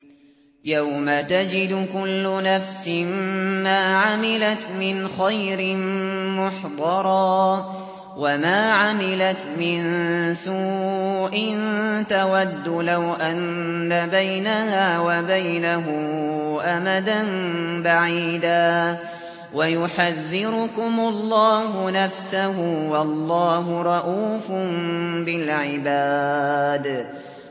يَوْمَ تَجِدُ كُلُّ نَفْسٍ مَّا عَمِلَتْ مِنْ خَيْرٍ مُّحْضَرًا وَمَا عَمِلَتْ مِن سُوءٍ تَوَدُّ لَوْ أَنَّ بَيْنَهَا وَبَيْنَهُ أَمَدًا بَعِيدًا ۗ وَيُحَذِّرُكُمُ اللَّهُ نَفْسَهُ ۗ وَاللَّهُ رَءُوفٌ بِالْعِبَادِ